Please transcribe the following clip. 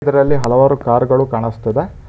ಇದರಲ್ಲಿ ಹಲವಾರು ಕಾರು ಗಳು ಕಾಣಿಸ್ತಿದೆ.